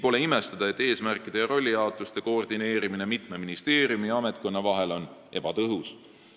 Pole midagi imestada, et eesmärkide ja rollijaotuse koordineerimine mitme ministeeriumi ja ametkonna vahel on ebatõhus.